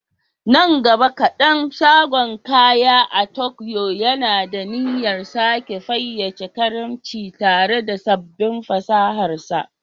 Nan gaba kadan, shagon kaya a Tokyo yana da niyyar sake fayyace karimci tare da sabbin fasahar sa.